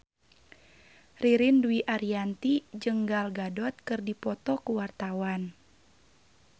Ririn Dwi Ariyanti jeung Gal Gadot keur dipoto ku wartawan